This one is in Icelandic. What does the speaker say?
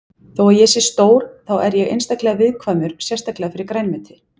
Þó að ég sé stór þá er ég einstaklega viðkvæmur sérstaklega fyrir grænmeti.